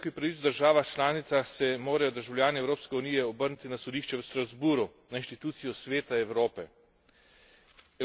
Ob hudem kršenju človekovih pravic v državah članicah se morajo državljani Evropske unije obrniti na sodišče v Strasbourgu, na inštitucijo Sveta Evrope.